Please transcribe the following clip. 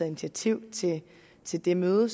initiativ til det møde